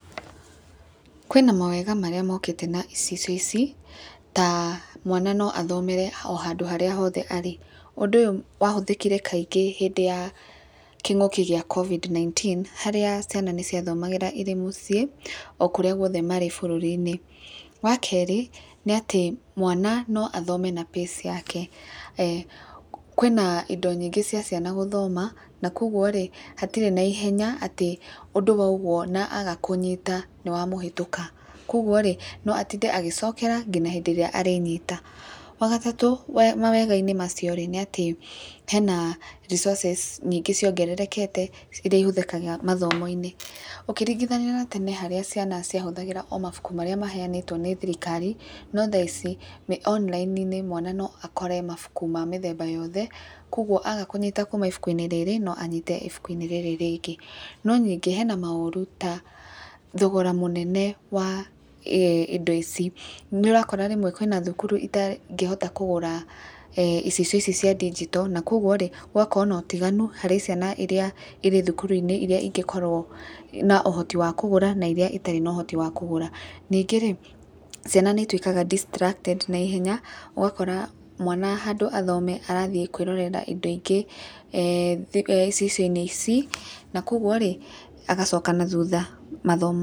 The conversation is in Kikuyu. Kwĩna mawega marĩa mokĩte na icicio ici ta, mwana no athomere o handũ hothe arĩ, ũndũ ũyũ wathũthĩkire kaingĩ hĩndĩ ya kĩng'ũki ya COVID-19 harĩa ciana nĩ cia thomagĩra mũciĩ o kũrĩa marĩ bũrũri-inĩ, wa kerĩ nĩ atĩ mwana no athome na pace yake, kwĩna indo nyingĩ cia ciana gũthoma na kwoguo rĩ hatirĩ na ihenya atĩ ũndũ wauguo na afa kũnyita nĩ wa mũhetũka, kwoguo no atinde agĩcokĩra nginya rĩrĩa arĩnyita, wagatatũ mawega-inĩ macio rĩ nĩ atĩ hena resources nyingĩ ciongererekete iria ihũthĩkaga mathomoinĩ, ũkĩringithania na tene harĩa ciana cia hũthagĩra o mabuku marĩa mahenĩtwo nĩ thirikari, no thaa ici me online mwana no akore mabuku ma mĩthemba yothe, kwoguo aga kũnyita kuma ibuku-inĩ rĩrĩ no anyite ibuku-inĩ rĩrĩ rĩngĩ. No ningĩ hena maũru ta thogora mũnene wa indo ici, nĩ ũrakora rĩmwe kwĩna thukuru itangĩhota kũgũra icicio ici cia digital na kwoguo rĩ hakagĩa na ũtiganu harĩ ciana iria irĩ thukuru-inĩ iria ingĩ korwo na ũhoti wa kũgũra na iria itarĩ na ũhoti wa kũgũra, ningĩ ciana nĩ ituĩkaga diatracted na ihenya ũgakora mwana handũ ha athome arathiĩ kwĩrorera indo ingĩ ceceni-inĩ ici na kwoguo rĩ agacoka na thutha mathomoinĩ.